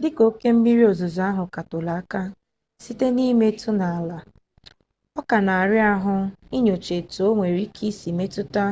dị ka oke mmiri ozuzo ahụ ka toro aka site n'imetụ n'ala ọ ka na-ara ahụ inyocha etu o nwere ike isi metụta